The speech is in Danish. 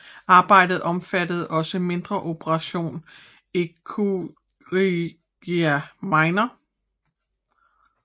Arbejdet omfatter også mindre operation eroochirurgia minor